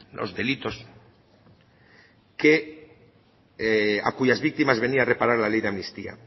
los delitos que a cuyas víctimas venía a reparar la ley de amnistía